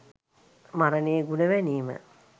මරණයේ ගුණ වැනීම